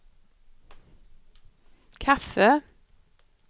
kaffe